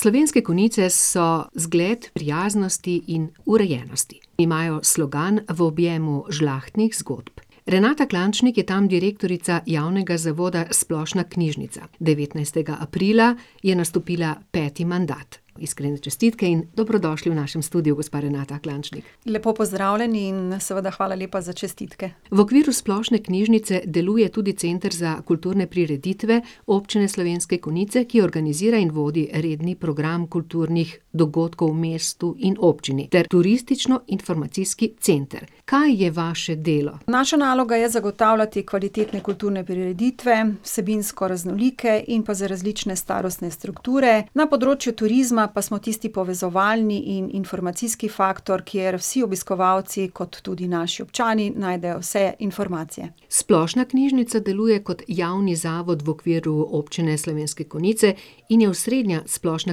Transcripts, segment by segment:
Slovenske Konjice so zgled prijaznosti in urejenosti. Imajo slogan V objemu žlahtnih zgodb. Renata Klančnik je tam direktorica javnega zavoda Splošna knjižnica. Devetnajstega aprila je nastopila peti mandat. Iskrene čestitke in dobrodošli v našem studiu, gospa Renata Klančnik. Lepo pozdravljeni in seveda hvala lepa za čestitke. V okviru splošne knjižnice deluje tudi center za kulturne prireditve Občine Slovenske Konjice, ki organizira in vodi redni program kulturnih dogodkov v mestu in občini, ter turističnoinformacijski center. Kaj je vaše delo? Naša naloga je zagotavljati kvalitetne kulturne prireditve, vsebinsko raznolike in pa za različne starostne strukture. Na področju turizma pa smo tisti povezovalni in informacijski faktor, kjer vsi obiskovalci kot tudi naši občani najdejo vse informacije. Splošna knjižnica deluje kot javni zavod v okviru Občine Slovenske Konjice in je osrednja splošna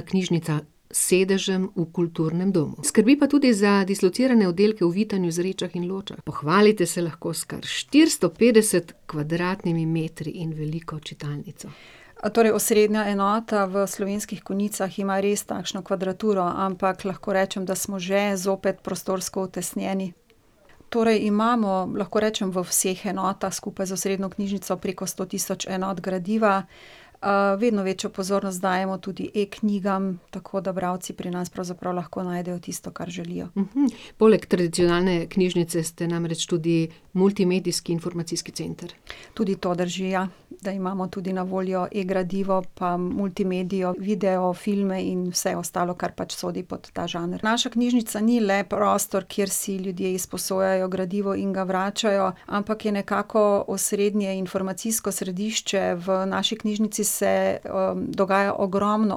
knjižnica s sedežem v kulturnem domu. Skrbi pa tudi za dislocirane oddelke v Vitanju, Zrečah in Ločah, pohvalite se lahko s kar štiristo petdeset kvadratnimi metri in veliko čitalnico. torej osrednja enota v Slovenskih Konjicah ima res takšno kvadraturo, ampak lahko rečem, da smo že zopet prostorsko utesnjeni. Torej imamo, lahko rečem v vseh enotah skupaj z osrednjo knjižnico preko sto tisoč enot gradiva, vedno večjo pozornost dajemo tudi e-knjigam, tako da bralci pri nas pravzaprav lahko najdejo tisto, kar želijo. Poleg tradicionalne knjižnice ste namreč tudi multimedijski informacijski center. Tudi to drži, ja, da imamo tudi na voljo e-gradivo pa multimedijo, video, filme in vse ostalo, kar pač sodi pod ta žanr. Naša knjižnica ni le prostor, kjer si ljudje izposojajo gradivo in ga vračajo, ampak je nekako osrednje informacijsko središče, v naši knjižnici se, dogaja ogromno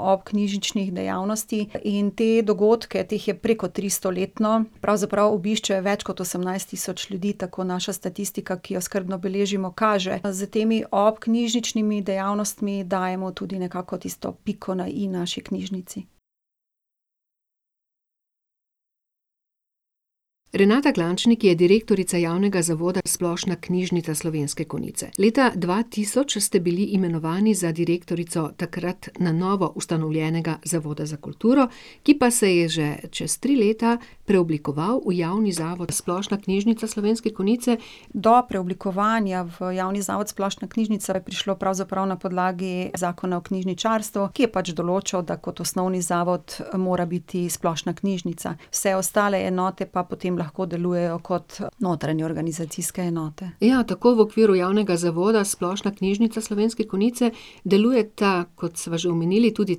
obknjižničnih dejavnosti in te dogodke, teh je preko tristo letno, pravzaprav obišče več kot osemnajst tisoč ljudi, tako naša statistika, ki jo skrbno beležimo, kaže. S temi obknjižničnimi dejavnostmi dajemo tudi nekako tisto piko na i naši knjižnici. Renata Klančnik je direktorica javnega zavoda Splošna knjižnica Slovenske Konjice. Leta dva tisoč ste bili imenovani za direktorico takrat na novo ustanovljenega Zavoda za kulturo, ki pa se je že čez tri leta preoblikoval v javni zavod Splošna knjižnica Slovenske Konjice. Do preoblikovanja v javni zavod Splošna knjižnica je prišlo pravzaprav na podlagi zakona o knjižničarstvu, ki je pač določal, da kot osnovni zavod mora biti splošna knjižnica. Vse ostale enote pa potem lahko delujejo kot notranje organizacijske enote. Ja, tako v okviru javnega zavoda Splošna knjižnica Slovenske Konjice delujeta, kot sva že omenili, tudi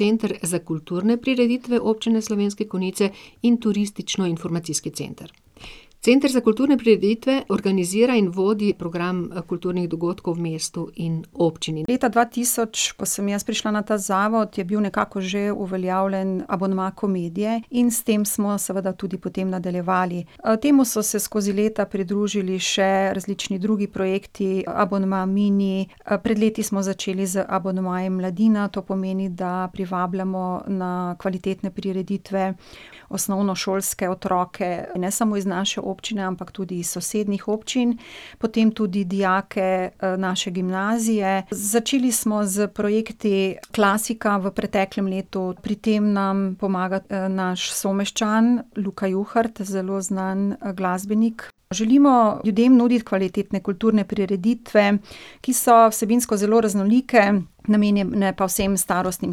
Center za kulturne prireditve Občine Slovenske Konjice in turističnoinformacijski center. Center za kulturne prireditve organizira in vodi program, kulturnih dogodkov v mestu in občini. Leta dva tisoč, ko sem jaz prišla na ta zavod, je bil nekako že uveljavljen abonma komedije, in s tem smo seveda tudi potem nadaljevali. temu so se skozi leta pridružili še različni drugi projekti, abonma Mini, pred leti smo začeli z abonmajem Mladina, to pomeni, da privabljamo na kvalitetne prireditve osnovnošolske otroke, ne samo iz naše občine, ampak tudi iz sosednjih občin, potem tudi dijake, naše gimnazije. Začeli smo s projekti Klasika v preteklem letu, pri tem nam pomaga, naš someščan, Luka Juhart, zelo znan, glasbenik. Želimo ljudem nuditi kvalitetne kulturne prireditve, ki so vsebinsko zelo raznolike, namenjene pa vsem starostnim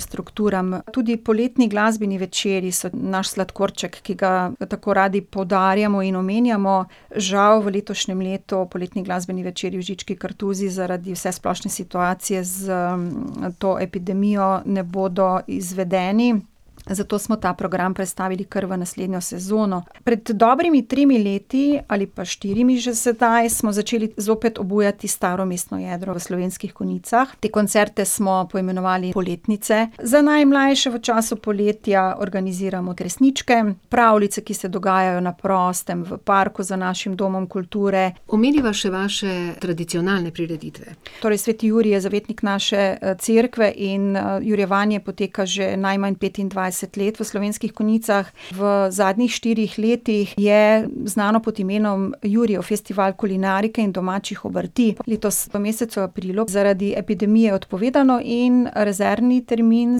strukturam. Tudi poletni glasbeni večeri so naš sladkorček, ki ga tako radi poudarjamo in omenjamo, žal v letošnjem letu poletni glasbeni večeri v Žički kartuziji zaradi vsesplošne situacije s to epidemijo ne bodo izvedeni, zato smo ta program prestavili kar v naslednjo sezono. Pred dobrimi tremi leti ali pa štirimi že sedaj smo začeli zopet obujati staro mestno jedro v Slovenskih Konjicah. Te koncerte smo poimenovali Poletnice. Za najmlajše v času poletja organiziramo Kresničke, pravljice, ki se dogajajo na prostem, v parku za našim domom kulture. Omeniva še vaše tradicionalne prireditve. Torej sveti Jurij je zavetnik naše, cerkve in, jurjevanje poteka že najmanj petindvajset let v Slovenskih Konjicah. V zadnjih štirih letih je znano pod imenom Jurijev festival kulinarike in domačih obrti, letos v mesecu aprilu zaradi epidemije odpovedano, in rezervni termin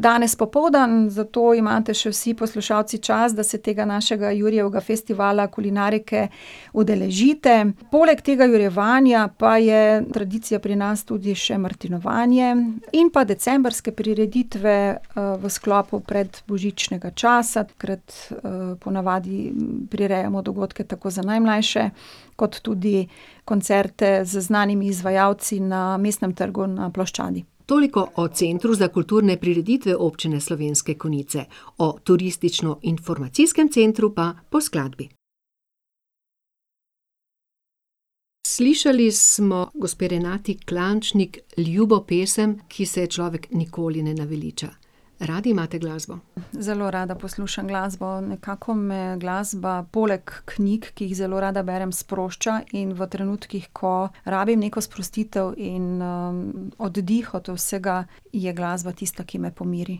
danes popoldne, v to imate še vsi poslušalci čas, da se tega našega Jurijevega festivala kulinarike udeležite. Poleg tega jurjevanja pa je tradicija pri nas tudi še martinovanje in pa decembrske prireditve, v sklopu predbožičnega časa, takrat, ponavadi prirejamo dogodke tako za najmlajše kot tudi koncerte z znanimi izvajalci na mestnem trgu na ploščadi. Toliko o Centru za kulturne prireditve Občine Slovenske Konjice. O turističnoinformacijskem centru pa po skladbi. Slišali smo gospe Renati Klančnik ljubo pesem, ki se je človek nikoli ne naveliča. Radi imate glasbo? Zelo rada poslušam glasbo, nekako me glasba poleg knjig, ki jih zelo rada berem, sprošča in v trenutkih, ko rabim neko sprostitev in, oddih od vsega, je glasba tista, ki me pomiri.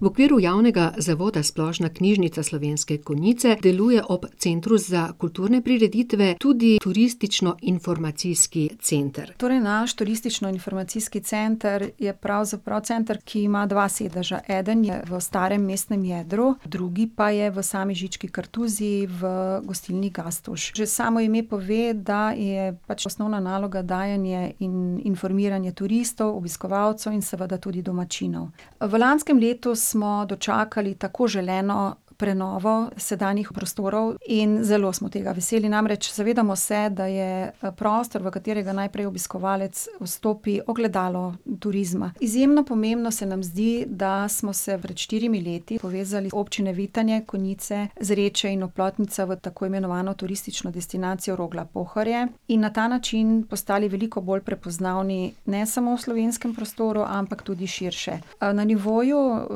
V okviru Javnega zavoda Splošna knjižnica Slovenske Konjice deluje ob Centru za kulturne prireditve tudi turističnoinformacijski center. Torej naš turističnoinformacijski center je pravzaprav center, ki ima dva sedeža. Eden je v starem mestnem jedru, drugi pa je v sami Žički kartuziji, v Gostilni Gastuž. Že samo ime pove, da je pač osnovna naloga dajanje in informiranje turistov, obiskovalcev in seveda tudi domačinov. v lanskem letu smo dočakali tako želeno prenovo sedanjih prostorov in zelo smo tega veseli, namreč zavedamo se, da je, prostor, v katerega najprej obiskovalec vstopi, ogledalo turizma. Izjemno pomembno se nam zdi, da smo se pred štirimi leti povezali občine Vitanje, Konjice, Zreče in Oplotnica v tako imenovano turistično destinacijo Rogla-Pohorje in na ta način postali veliko bolj prepoznavni, ne samo v slovenskem prostoru, ampak tudi širše. na nivoju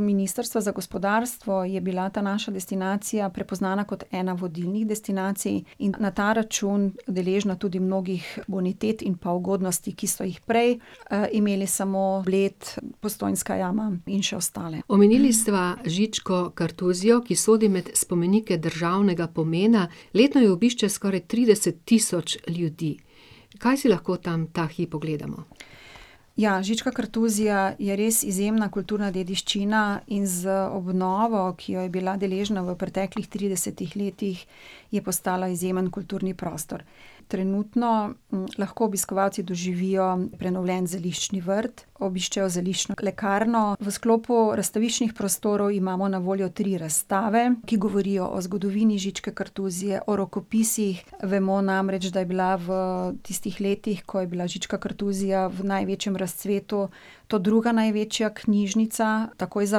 Ministrstva za gospodarstvo je bila ta naša destinacija prepoznana kot ena vodilnih destinacij in na ta račun deležna tudi mnogih unitet in pa ugodnosti, ki so jih prej, imeli samo Bled, Postojnska jama in še ostale. Omenili sva Žičko kartuzijo, ki sodi med spomenike državnega pomena. Letno jo obišče skoraj trideset tisoč ljudi. Kaj si lahko tam ta hip ogledamo? Ja, Žička kartuzija je res izjemna kulturna dediščina in z obnovo, ki jo je bila deležna v preteklih tridesetih letih, je postala izjemen kulturni prostor. Trenutno, lahko obiskovalci doživijo prenovljen zeliščni vrt, obiščejo zeliščno lekarno, v sklopu razstaviščnih prostorov imamo na voljo tri razstave, ki govorijo o zgodovini Žičke kartuzije, o rokopisih, vemo namreč, da je bila v tistih letih, ko je bila Žička kartuzija v največjem razcvetu, to druga največja knjižnica, takoj za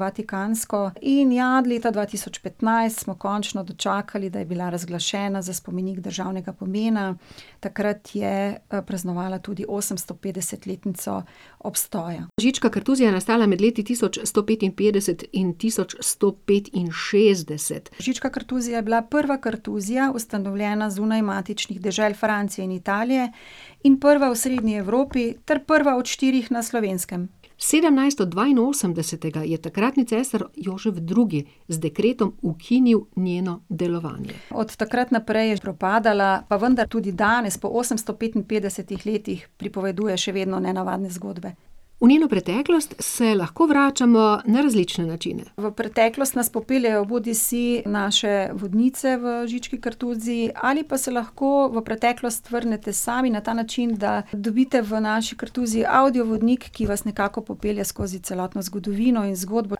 vatikansko, in ja, leta dva tisoč petnajst smo končno dočakali, da je bila razglašena za spomenik državnega pomena, takrat je, praznovala tudi osemstopetdesetletnico obstoja. Žička kartuzija je nastala med leti tisoč sto petinpetdeset in tisoč sto petinšestdeset. Žička kartuzija je bila prva kartuzija, ustanovljena zunaj matičnih dežel, Francije in Italije, in prva v osrednji Evropi ter prva od štirih na Slovenskem. Sedemnajststo dvainosemdesetega je takratni cesar Jožef Drugi z dekretom ukinil njeno delovanje. Od takrat naprej je propadala, pa vendar tudi danes, po osemsto petinpetdesetih letih, pripoveduje še vedno nenavadne zgodbe. V njeno preteklost se lahko vračamo na različne načine. V preteklost nas popeljejo bodisi naše vodnice v Žički kartuziji ali pa se lahko v preteklost vrnete sami, na ta način, da dobite v naši kartuziji avdio vodnik, ki vas nekako popelje skozi celotno zgodovino in zgodbo.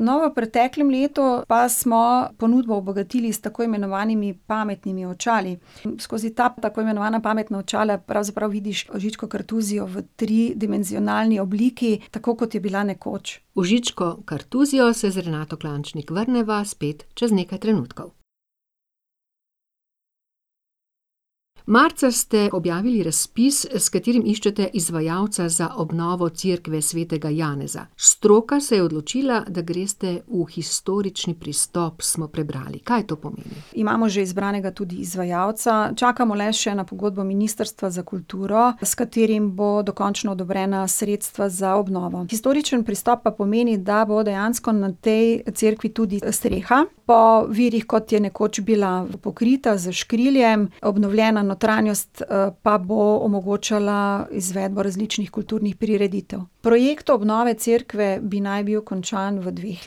no, v preteklem letu pa smo ponudbo obogatili s tako imenovanimi pametnimi očali. Skozi ta tako imenovana pametna očala pravzaprav vidiš Žičko kartuzijo v tridimenzionalni obliki, tako kot je bila nekoč. V Žičko kartuzijo se z Renato Klančnik vrneva spet čez nekaj trenutkov. Marca ste objavili razpis, s katerim iščete izvajalca za obnovo cerkve svetega Janeza. Stroka se je odločila, da greste v historični pristop, smo prebrali. Kaj to pomeni? Imamo že izbranega tudi izvajalca, čakamo le še na pogodbo Ministrstva za kulturo, s katerim bodo dokončno odobrena sredstva za obnovo. Historični pristop pa pomeni, da bo dejansko na tej cerkvi tudi streha, po virih, kot je nekoč bila pokrita s skrilom, obnovljena notranjost, pa bo omogočala izvedbo različnih kulturnih prireditev. Projekt obnove cerkve bi naj bil končan v dveh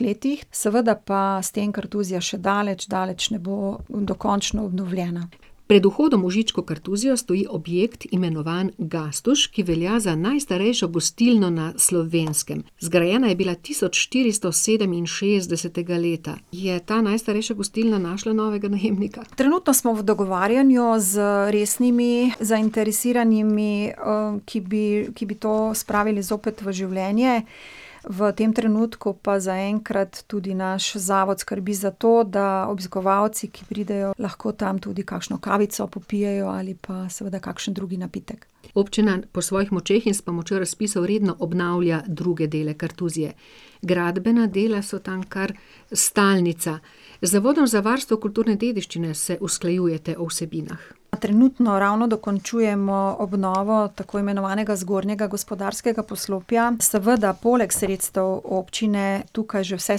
letih, seveda pa s tem kartuzija še daleč, daleč ne bo dokončno obnovljena. Pred vhodom v Žičko kartuzijo stoji objekt, imenovan Gastuž, ki velja za najstarejšo gostilno na Slovenskem. Zgrajena je bila tisoč štiristo sedeminšestdesetega leta. Je ta najstarejša gostilna našla novega najemnika? Trenutno smo v dogovarjanju z resnimi, zainteresiranimi, ki bi, ki bi to spravili zopet v življenje. V tem trenutku pa zaenkrat tudi naš zavod skrbi za to, da obiskovalci, ki pridejo, lahko tam tudi kakšno kavico popijejo ali pa seveda kakšen drug napitek. Občina po svojih močeh in s pomočjo razpisov redno obnavlja druge dele kartuzije. Gradbena dela so tam kar stalnica. Z Zavodom za varstvo kulturne dediščine se usklajujete o vsebinah. Trenutno ravno dokončujemo obnovo tako imenovanega zgornjega gospodarskega poslopja, seveda poleg sredstev občine tukaj že vse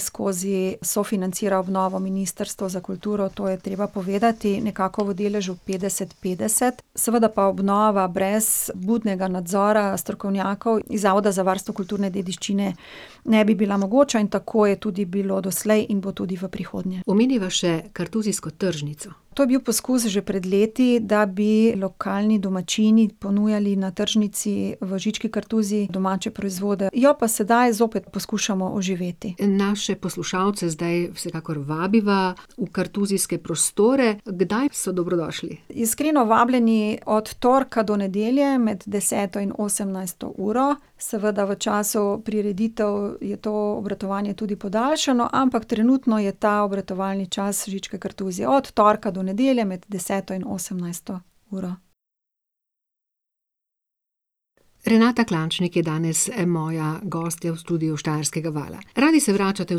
skozi sofinancira obnovo Ministrstvo za kulturo, to je treba povedati, nekako v deležu petdeset petdeset, seveda pa obnova brez budnega nadzora strokovnjakov iz Zavoda za varstvo kulturne dediščine ne bi bila mogoča in tako je tudi bilo doslej in bo tudi v prihodnje. Omeniva še kartuzijsko tržnico. To je bil poskus že pred leti, da bi lokalni domačini ponujali na tržnici v Žički kartuziji domače proizvode. Jo pa sedaj zopet poskušamo oživeti. Naše poslušalce zdaj vsekakor vabiva v kartuzijske prostore, kdaj so dobrodošli? Iskreno vabljeni od torka do nedelje med deseto in osemnajsto uro, seveda v času prireditev je to obratovanje tudi podaljšano, ampak trenutno je ta obratovalni čas Žičke Kartuzije od torka do nedelje med deseto in osemnajsto uro. Renata Klančnik je danes, moja gostja v studiu Štajerskega vala. Radi se vračate v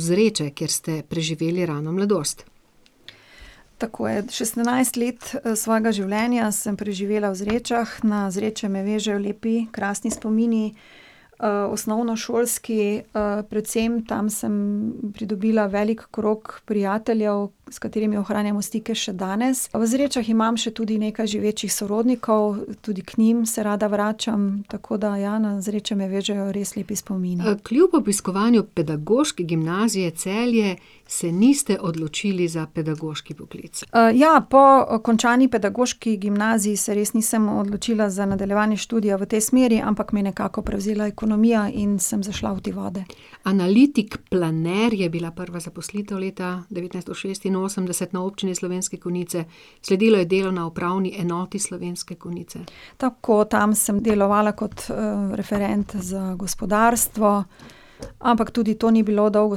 Zreče, kjer ste preživeli rano mladost. Tako je, šestnajst let, svojega življenja sem preživela v Zrečah. Na Zreče me vežejo lepi, krasni spomini. osnovnošolski, predvsem tam sem pridobila velik krog prijateljev, s katerimi ohranjamo stike še danes. V Zrečah imam še tudi nekaj živečih sorodnikov, tudi k njim se rada vračam, tako da ja, na Zreče me vežejo res lepi spomini. kljub obiskovanju Pedagoške gimnazije Celje se niste odločili za pedagoški poklic. ja, po končani pedagoški gimnaziji se res nisem odločila za nadaljevanje študija v tej smeri, ampak me je nekako prevzela ekonomija in sem zašla v te vode. Analitik, planer je bila prva zaposlitev leta devetnajststo šestinosemdeset na Občini Slovenske Konjice. Sledilo je delo na Upravni enoti Slovenske Konjice. Tako, tam sem delovala kot, referent za gospodarstvo, ampak tudi to ni bilo dolgo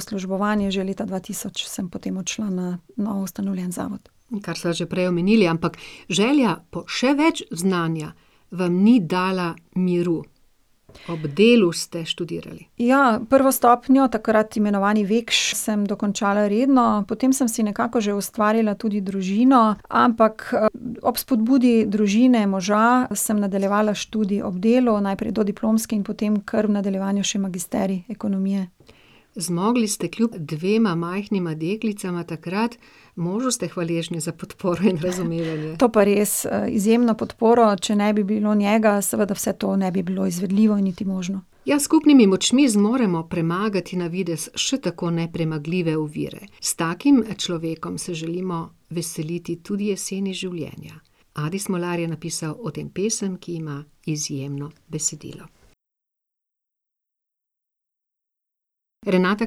službovanje, že leta dva tisoč sem potem odšla na novo ustanovljeni zavod. In kar sva že prej omenili, ampak, želja po še več znanja vam ni dala miru. Ob delu ste študirali. Ja, prvo stopnjo, takrat imenovani Vikš, sem dokončala redno, potem sem si nekako že ustvarila tudi družino, ampak, ob spodbudi družine, moža sem nadaljevala študij ob delu, najprej dodiplomski in potem kar nadaljevala magisterij ekonomije. Zmogli ste kljub dvema majhnima deklicama takrat, možu ste hvaležni za podporo in razumevanje. To pa res, izjemno podporo, če ne bi bilo njega, seveda vse to ne bi bilo izvedljivo niti možno. Ja, s skupnimi močmi zmoremo premagati na videz še tako nepremagljive ovire. S takim človekom se želimo veseliti tudi jeseni življenja. Adi Smolar je napisal o tem pesem, ki ima izjemno besedilo. Renata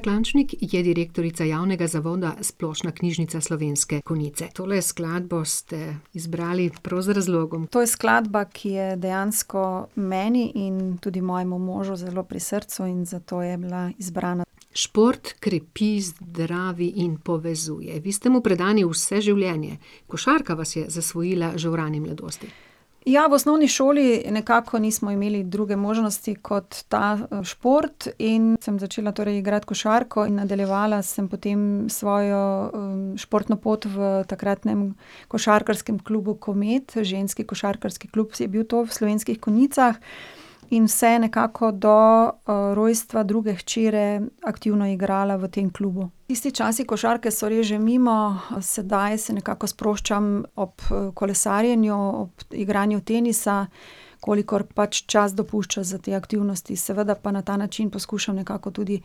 Klančnik je direktorica javnega zavoda Splošna knjižnica Slovenske Konjice. Tole skladbo ste izbrali prav z razlogom. To je skladba, ki je dejansko meni in tudi mojemu možu zelo pri srcu in zato je bila zbrana. Šport krepi, zdravi in povezuje. Vi ste mu predani vse življenje. Košarka vas je zasvojila že v rani mladosti. Ja, v osnovni šoli nekako nismo imeli druge možnosti kot ta, šport in sem začela torej igrati košarko in nadaljevala sem potem svojo, športno pot v takratnem košarkarskem klubu Komet, ženski košarkarski klub je bil to v Slovenskih Konjicah. In vse nekako do, rojstva druge hčere aktivno igrala v tem klubu. Tisti časi košarke so res že mimo, sedaj se nekako sproščam ob, kolesarjenju, igranju tenisa, kolikor pač čas dopušča za te aktivnosti, seveda pa na ta način poskušam nekako tudi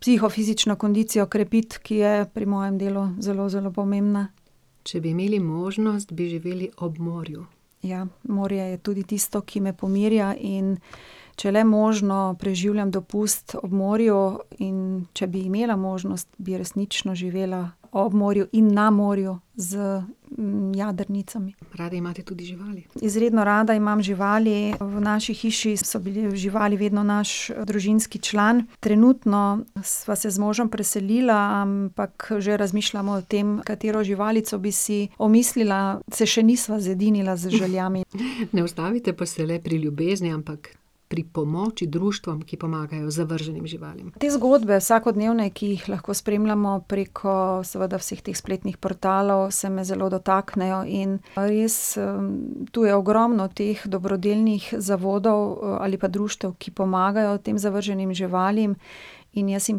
psihofizično kondicijo krepiti, ki je pri mojem delu zelo zelo pomembna. Če bi imeli možnost, bi živeli ob morju. Ja, morje je tudi tisto, ki me pomirja, in če le možno, preživljam dopust ob morju, in če bi imela možnost, bi resnično živela ob morju in na morju z, jadrnicami. Radi imate tudi živali. Izredno rada imam živali, v naši hiši so bile živali vedno naš družinski član. Trenutno sva se z možem preselila, ampak že razmišljamo o tem, katero živalico bi si omislila. Se še nisva zedinila z željami. Ne ustavite pa se le pri ljubezni, ampak pri pomoči društvom, ki pomagajo zavrženim živalim. Te zgodbe, vsakodnevne, ki jih lahko spremljamo preko seveda vseh teh spletnih portalov, se me zelo dotaknejo, in pa res, to je ogromno teh dobrodelnih zavodov, ali pa društev, ki pomagajo tem zavrženim živalim. In jaz jim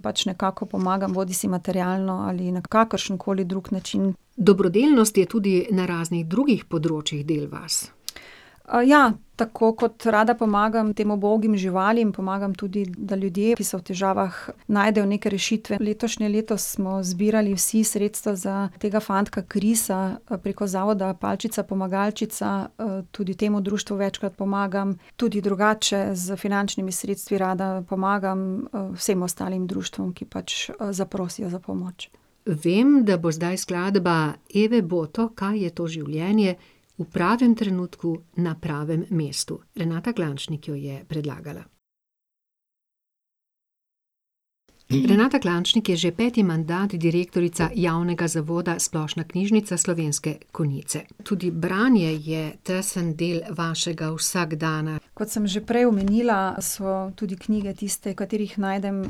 pač nekako pomagam, bodisi materialno ali na kakršenkoli drug način. Dobrodelnost je tudi na raznih drugih področjih del vas. ja, tako kot rada pomagam tem ubogim živalim, pomagam tudi, da ljudje, ki so v težavah, najdejo neke rešitve. Letošnje leto smo zbirali vsi sredstva za tega fantka Krisa preko zavoda Palčica Pomagalčica, tudi temu društvu večkrat pomagam, tudi drugače z finančnimi sredstvi rada pomagam, vsem ostalim društvom, ki pač, zaprosijo za pomoč. Vem, da bo zdaj skladba Eve Boto Kaj je to življenje v pravim trenutku na pravim mestu. Renata Klančnik jo je predlagala. Renata Klančnik je že peti mandat direktorica javnega zavoda Splošna knjižnica Slovenske Konjice. Tudi branje je tesen del vašega vsakdana. Kot sem že prej omenila, so tudi knjige tiste, v katerih najdem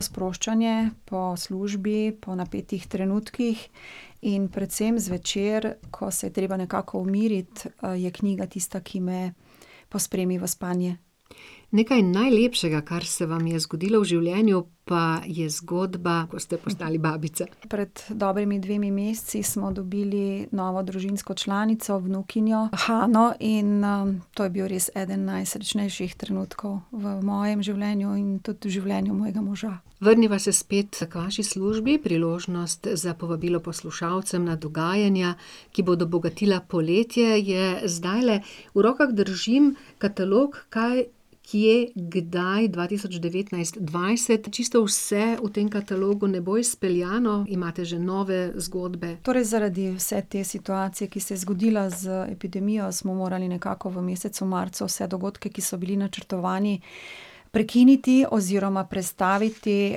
sproščanje, po službi, po napetih trenutkih. In predvsem zvečer, ko se je treba nekako umiriti, je knjiga tista, ki me pospremi v spanje. Nekaj najlepšega, kar se vam je zgodilo v življenju, pa je zgodba, ko ste postali babica. Pred dobrima dvema mesecema smo dobili novo družinsko članico, vnukinjo Hano, in, to je bil res eden najsrečnejših trenutkov v mojem življenju in tudi življenja mojega moža. Vrniva se spet k vaši službi, priložnost za povabilo poslušalcem na dogajanja, ki bodo bogatila poletje, je zdajle. V rokah držim katalog Kaj, kje, kdaj dva tisoč devetnajst dvajset. Čisto vse v tem katalogu ne bo izpeljano, imate že nove zgodbe. Torej zaradi vse te situacije, ki se je zgodila z epidemijo, smo morali nekako v mesecu marcu vse dogodke, ki so bili načrtovani, prekiniti oziroma prestaviti.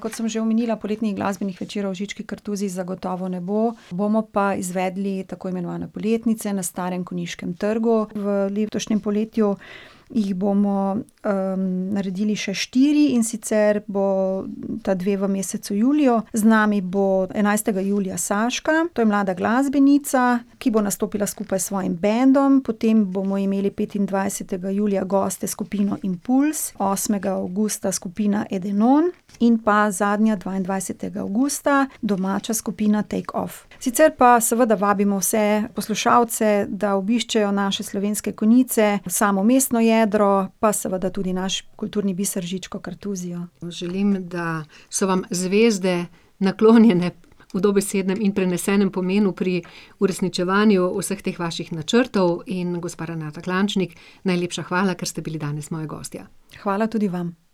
Kot sem že omenila, poletnih glasbenih večerov v Žički kartuziji zagotovo ne bo, bomo pa izvedli tako imenovane Poletnice na Starem konjiškem trgu, v letošnjem poletju jih bomo, naredili še štiri, in sicer bosta dve v mesecu juliju, z nami bo enajstega julija Saška, to je mlada glasbenica, ki bo nastopila skupaj s svojim bendom, potem bomo imeli petindvajsetega julija goste s skupino Impulz, osmega avgusta skupina Edenon in pa zadnja, dvaindvajsetega avgusta, domača skupina Take Off. Sicer pa seveda vabimo vse poslušalce, da obiščejo naše Slovenske Konjice, samo mestno jedro, pa seveda tudi naš kulturni biser Žičko kartuzijo. Želim, da so vam zvezde naklonjene v dobesednem in prenesenem pomenu pri uresničevanju vseh teh vaših načrtov, in gospa Renata Klančnik, najlepša hvala, ker ste bili danes moja gostja. Hvala tudi vam.